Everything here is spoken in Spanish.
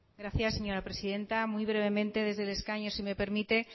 gracias señora presidenta muy brevemente desde el escaño si me permite